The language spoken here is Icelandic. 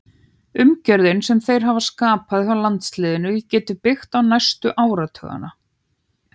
Umgjörðin sem þeir hafa skapað hjá landsliðinu getum við byggt á næstu áratugina.